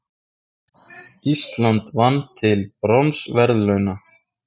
Ísland vann til bronsverðlauna